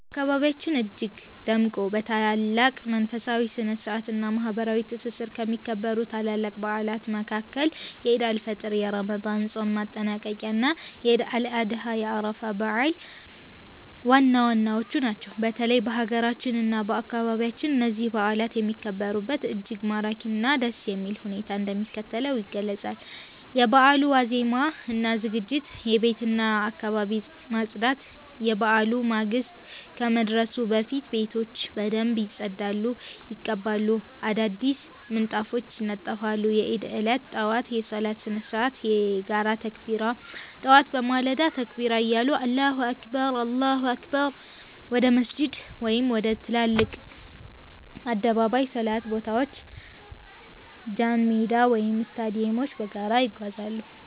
በአካባቢያችን እጅግ ደምቆ፣ በታላቅ መንፈሳዊ ስነ-ስርዓት እና ማህበራዊ ትስስር ከሚከበሩት ታላላቅ በዓላት መካከል የዒድ አል-ፊጥር የረመዳን ጾም ማጠናቀቂያ እና የዒድ አል-አድሃ የአረፋ በዓል ዋናዎቹ ናቸው። በተለይም በአገራችን እና በአካባቢያችን እነዚህ በዓላት የሚከበሩበት እጅግ ማራኪ እና ደስ የሚል ሁኔታ እንደሚከተለው ይገለጻል፦ የበዓሉ ዋዜማ እና ዝግጅት የቤትና የአካባቢ ማፅዳት፦ የበዓሉ ማግስት ከመድረሱ በፊት ቤቶች በደንብ ይጸዳሉ፣ ይቀባሉ፣ አዳዲስ ምንጣፎች ይነጠፋሉ። የዒድ ዕለት ጠዋት የሶላት ስነ-ስርዓት የጋራ ተክቢራ፦ ጠዋት በማለዳ ተክቢራ እያሉ አላሁ አክበር፣ አላሁ አክበር... ወደ መስጂድ ወይም ወደ ትላልቅ የአደባባይ ሶላት ቦታዎች ጃንሜዳ ወይም ስታዲየሞች በጋራ ይጓዛሉ።